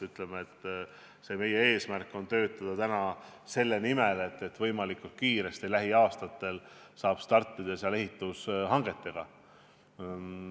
Ütleme nii, et meie eesmärk on töötada täna selle nimel, et lähiaastatel saaks võimalikult kiiresti startida seal ehitushangetega.